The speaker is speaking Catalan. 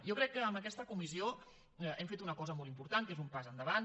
jo crec que amb aquesta comissió hem fet una cosa molt important que és un pas endavant